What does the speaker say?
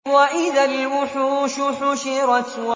وَإِذَا الْوُحُوشُ حُشِرَتْ